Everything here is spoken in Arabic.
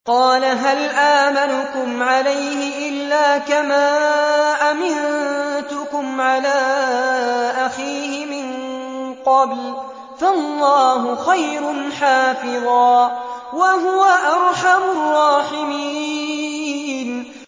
قَالَ هَلْ آمَنُكُمْ عَلَيْهِ إِلَّا كَمَا أَمِنتُكُمْ عَلَىٰ أَخِيهِ مِن قَبْلُ ۖ فَاللَّهُ خَيْرٌ حَافِظًا ۖ وَهُوَ أَرْحَمُ الرَّاحِمِينَ